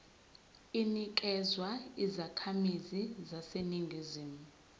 inikezwa izakhamizi zaseningizimu